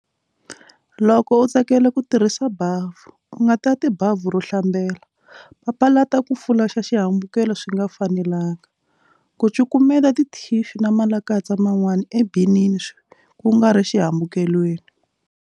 Loko u tsakela ku tirhisa bavhu, u nga tati bavhu ro hlambela. Papalata ku fulaxa xihambukelo swi nga fanelenga. Ku cukumeta tithixu na malakatsa man'wani ebinini kungari xihambukelweni.